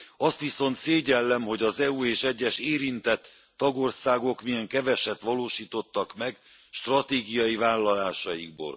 Azt viszont szégyellem, hogy az EU és egyes érintett tagországok milyen keveset valósítottak meg stratégiai vállalásaikból.